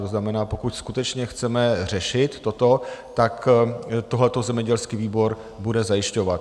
To znamená, pokud skutečně chceme řešit toto, tak tohle zemědělský výbor bude zajišťovat.